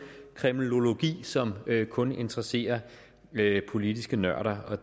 kremlologi som kun interesserer politiske nørder